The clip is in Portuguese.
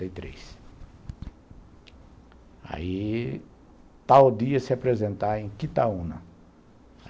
sessenta e três, aí tal dia se apresentar em Quitaúna